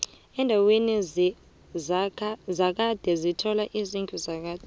endaweni zakhade sithola izidlu zakade